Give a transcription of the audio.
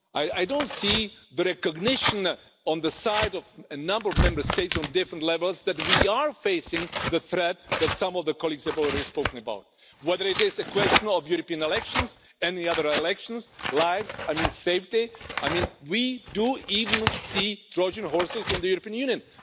I don't see the recognition on the side of a number of Member States on different levels that we are facing the threat that some of the colleagues have already spoken about, whether it is the question of European elections and the other elections, lives or safety. We even see Trojan horses in the European Union